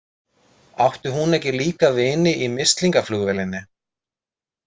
Átti hún ekki líka vini í mislingaflugvélinni?